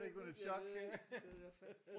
Fik hun en chok?